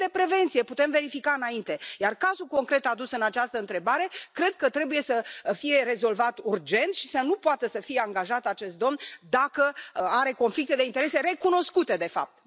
Vorbim de prevenție, putem verifica înainte, iar cazul concret adus în această întrebare cred că trebuie să fie rezolvat urgent și să nu poată să fie angajat acest domn dacă are conflicte de interese recunoscute, de fapt.